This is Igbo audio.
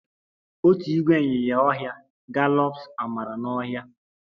Otu ìgwè ịnyinya ọhịa gallops amara n'ọhịa